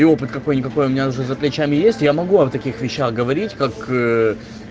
и опыт какой-никакой у меня уже за плечами есть я могу вам о таких вещах говорить как